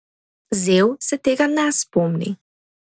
Zev se tega ne spomni.